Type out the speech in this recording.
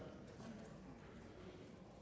da